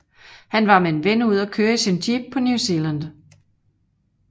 Han var med en ven ude at køre i sin jeep på New Zealand